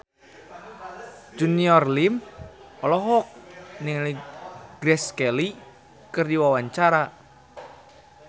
Junior Liem olohok ningali Grace Kelly keur diwawancara